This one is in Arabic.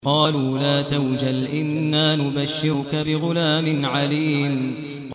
قَالُوا لَا تَوْجَلْ إِنَّا نُبَشِّرُكَ بِغُلَامٍ عَلِيمٍ